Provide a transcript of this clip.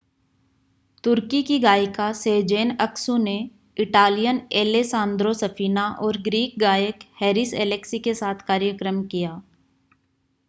तुर्की की गायिका Sezen Aksu ने इटालियन एलेसांद्रो सफीना और ग्रीक गायक हैरिस एलेक्सी के साथ कार्यक्रम किया